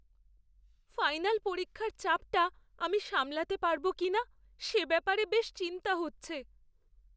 Final পরীক্ষার চাপটা আমি সামলাতে পারব কিনা সে ব্যাপারে বেশ চিন্তা হচ্ছে।